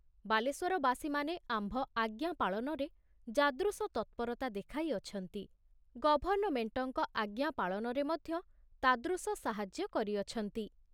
ବାଲେଶ୍ଵରବାସୀମାନେ ଆମ୍ଭ ଆଜ୍ଞା ପାଳନରେ ଯାଦୃଶ ତତ୍ପରତା ଦେଖାଇ ଅଛନ୍ତି, ଗଭର୍ଣ୍ଣମେଣ୍ଟଙ୍କ ଆଜ୍ଞା ପାଳନରେ ମଧ୍ୟ ତାଦୃଶ ସାହାଯ୍ୟ କରିଅଛନ୍ତି।